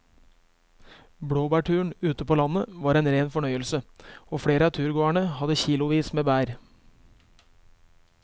Blåbærturen ute på landet var en rein fornøyelse og flere av turgåerene hadde kilosvis med bær.